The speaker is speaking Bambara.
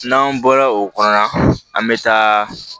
N'an bɔra o kɔnɔna na an bɛ taa